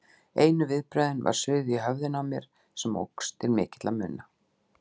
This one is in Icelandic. Einu viðbrögðin var suðið í höfðinu á mér, sem óx til mikilla muna.